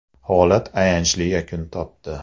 Holat ayanchli yakun topdi .